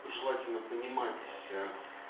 желательно понимать